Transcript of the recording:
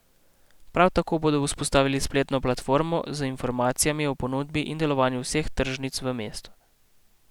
Prav tako bodo vzpostavili spletno platformo z informacijami o ponudbi in delovanju vseh tržnic v mestu.